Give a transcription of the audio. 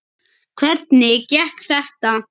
Hvernig gekk þetta?